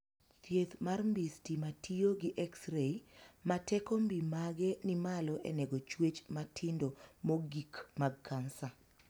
Thieth mar mbii stima tiyo gi exrei ma teko mbii mage ni malo e nego chuech matindo mogikmag kansa.